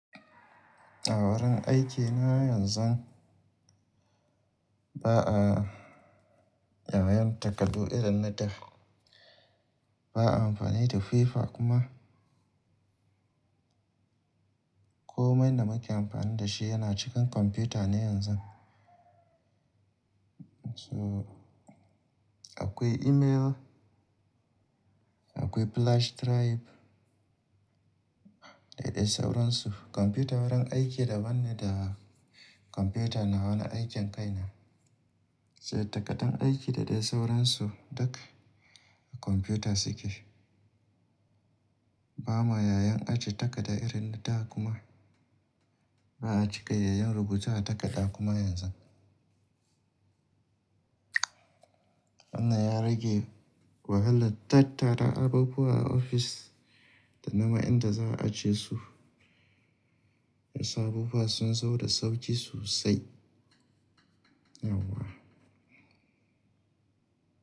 A wurin aikina yanzu ba a, yamayaman takardu irin na da. Ba a amfani da FIFA kuma. Komai da muke amfani da shi yana cikin kwamfuta ne yanzu. So akwai email, akwai flash drive da dai sauransu. Kwamfuta wurin aiki daban ne da kwamfuta nawa na aikain kaina. Sai takardan aiki da dai sauransu duka a kwamfuta suke. Ba ma yayin ajiye takarda irin na da kuma ba a cika yayan rubutu a takarda kuma yanzu. Wannan ya rage wahalar tattara abubuwa a ofis da naman inda za a ajiye su. Ya sa abubuwa sun zo da sauki sosai. Yauwa.